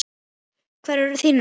Hverjir eru þínir menn?